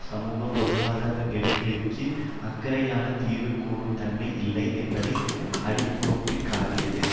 சமுக பொருளாதார நெருக்கடிக்கு அக்கறையான தீர்வு கூறும் தன்மை இல்லை என்பதை அடிக்கோடுக்காட்டியது